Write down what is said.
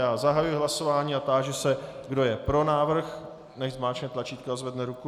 Já zahajuji hlasování a táži se, kdo je pro návrh, nechť zmáčkne tlačítko a zvedne ruku.